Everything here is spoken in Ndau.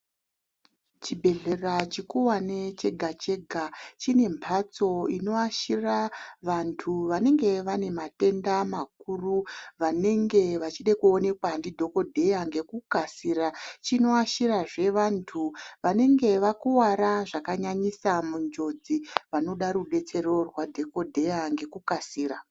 Chibhedhlera chikuwane chega chega chine mhatso inoashira vantu vanenge vane matenda makuru vanenge vachida kuonekwa ndidhokodheya ngekukasira chinoashirazve vantu vanenge vakuwara zvakanyanyisa munjodzi vanoda rudetsero rwadhokodheya ngekukasira.